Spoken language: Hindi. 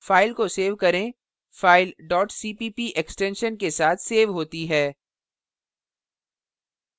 file को सेव करें file cpp extension के साथ सेव होती है